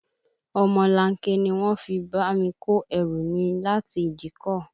Omolanke ni wọ́n fi bá mi kó ẹrù mi láti ìdíkọ̀